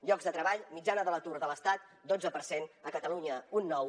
llocs de treball mitjana de l’atur de l’estat dotze per cent a catalunya un nou